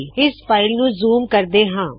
ਇਸ ਨੂੰ ਜ਼ੂਮ ਕਰਦੇ ਹਾ